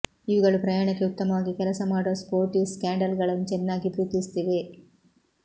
ಇವುಗಳು ಪ್ರಯಾಣಕ್ಕೆ ಉತ್ತಮವಾಗಿ ಕೆಲಸ ಮಾಡುವ ಸ್ಪೋರ್ಟಿ ಸ್ಯಾಂಡಲ್ಗಳನ್ನು ಚೆನ್ನಾಗಿ ಪ್ರೀತಿಸುತ್ತಿವೆ